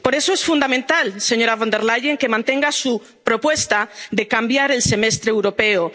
masivas. Por eso es fundamental, señora von der Leyen, que mantenga su propuesta de cambiar el Semestre